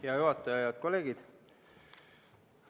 Hea juhataja ja head kolleegid!